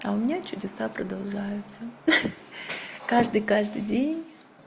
а у меня чудеса продолжаются каждый каждый день